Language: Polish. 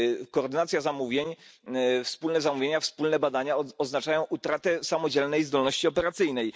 Koordynacja zamówień, wspólne zamówienia, wspólne badania oznaczają utratę samodzielnej zdolności operacyjnej.